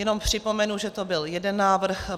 Jenom připomenu, že to byl jeden návrh.